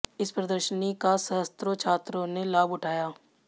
इस प्रदर्शनी का सहस्त्रों छात्रों ने लाभ ऊठाया